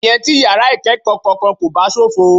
Ìyẹn tí yàrá ìkẹ́kọ̀ọ́ kankan kò bá ṣófo.